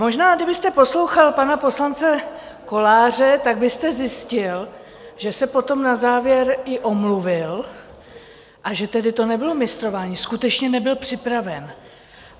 Možná kdybyste poslouchal pana poslance Koláře, tak byste zjistil, že se potom na závěr i omluvil, a že tedy to nebylo mistrování, skutečně nebyl připraven.